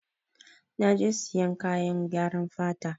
Na je sayan kayan gyaran fata.